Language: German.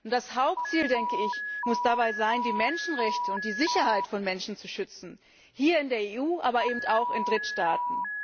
Das Hauptziel muss dabei sein, die Menschenrechte und die Sicherheit von Menschen zu schützen hier in der EU, aber eben auch in Drittstaaten.